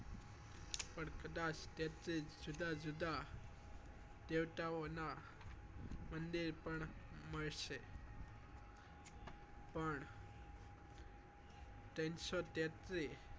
પણ કદાચ તેત્રી જુદા જુદા દેવતા ઓ નાં પણ મળશે પણ ત્રણસો તેત્રી